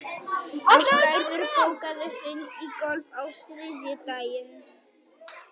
Æsgerður, bókaðu hring í golf á þriðjudaginn.